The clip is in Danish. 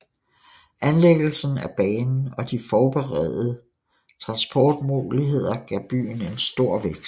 Anlæggelsen af banen og de forbedrede transportmuligheder gav byen en stor vækst